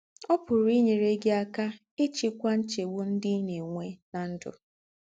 Ọ́ pùrù ínyèrè gị̀ ákà íchíkwà ńchègbù ńdị́ í ná-ènwè ná ndụ́.